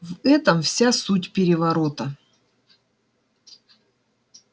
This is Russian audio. в этом вся суть переворота